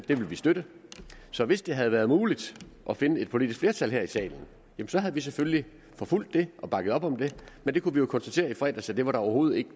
vil vi støtte så hvis det havde været muligt at finde et politisk flertal her i salen havde vi selvfølgelig forfulgt det og bakket op om det men det kunne vi jo konstatere i fredags at det overhovedet ikke